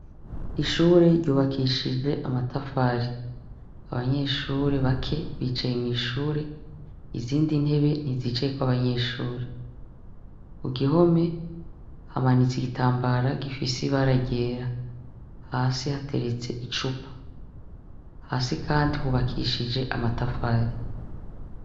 Ishure ryubakishije amatafari abanyeshuri bake ,bicaye mu ishure izindi ntebe ntizicaye kw'abanyeshuri ku gihome hamanitse igitambara gifisi baragera hasi hateretse icupa hasi kandi hubakishije amatafari.